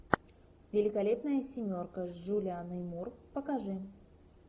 великолепная семерка с джулианной мур покажи